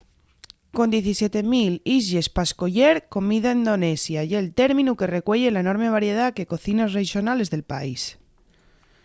con 17 000 islles pa escoyer comida indonesia ye'l términu que recueye la enorme variedá que cocines rexonales del país